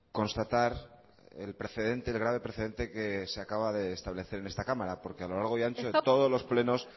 constatar el precedente el grave precedente que se acaba de establecer en esta cámara porque a lo largo y ancho de todos los plenos